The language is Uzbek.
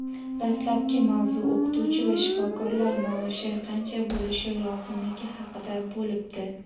Dastlabki mavzu o‘qituvchi va shifokorlar maoshi qancha bo‘lishi lozimligi haqida bo‘libdi.